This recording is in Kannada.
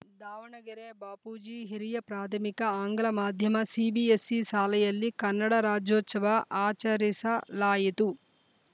ದಾವಣಗೆರೆ ಬಾಪೂಜಿ ಹಿರಿಯ ಪ್ರಾಧಮಿಕ ಆಂಗ್ಲ ಮಾಧ್ಯಮ ಸಿಬಿಎಸ್‌ಸಿ ಶಾಲೆಯಲ್ಲಿ ಕನ್ನಡ ರಾಜೋಚವ ಆಚರಿಸ ಲಾಯಿತು